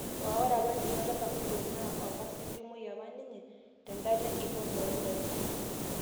Aa ore apaninye oltasat Fulod naa okasitomai apa ninye to dula lenkikombe o ndaiki